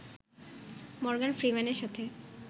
Morgan ফ্রিম্যানের সাথে